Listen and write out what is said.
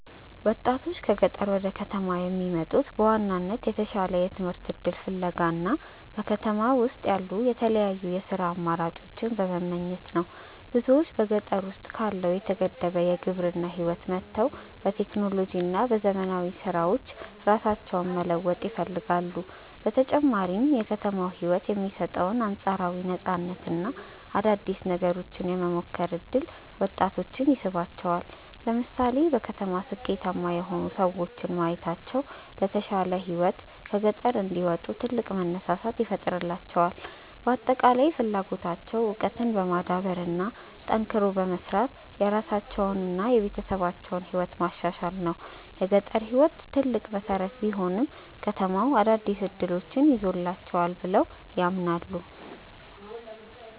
ወጣቶች ከገጠር ወደ ከተማ የሚመጡት በዋናነት የተሻለ የትምህርት እድል ፍለጋ እና በከተማ ውስጥ ያሉ የተለያዩ የሥራ አማራጮችን በመመኘት ነው። ብዙዎች በገጠር ውስጥ ካለው የተገደበ የግብርና ህይወት ወጥተው በቴክኖሎጂ እና በዘመናዊ ስራዎች ራሳቸውን መለወጥ ይፈልጋሉ። በተጨማሪም የከተማው ህይወት የሚሰጠው አንፃራዊ ነፃነት እና አዳዲስ ነገሮችን የመሞከር እድል ወጣቶችን ይስባቸዋል። ለምሳሌ በከተማ ስኬታማ የሆኑ ሰዎችን ማየታቸው ለተሻለ ህይወት ከገጠር እንዲወጡ ትልቅ መነሳሳት ይፈጥርላቸዋል። በአጠቃላይ ፍላጎታቸው እውቀትን በማዳበር እና ጠንክሮ በመስራት የራሳቸውንና የቤተሰባቸውን ህይወት ማሻሻል ነው። የገጠር ህይወት ትልቅ መሰረት ቢሆንም፣ ከተማው አዳዲስ እድሎችን ይዞላቸዋል ብለው ያምናሉ።